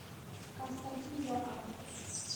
константин яковлев